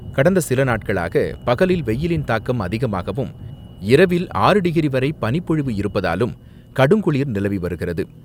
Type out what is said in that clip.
கடந்த சில நாட்களாக பகலில் வெயிலின் தாக்கம் அதிகமாகவும், இரவில் ஆறு டிகிரி வரை பனிப்பொழிவு இருப்பதாலும், கடுங்குளிர் நிலவி வருகிறது.